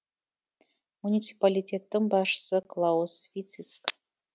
муниципалитеттің басшысы клаус вициск